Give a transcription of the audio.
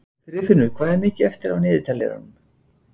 Friðfinnur, hvað er mikið eftir af niðurteljaranum?